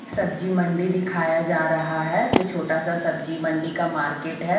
सब्जी मंडी दिखाया जा रहा है जो छोटा सा सब्जी मंडी का मार्केट है।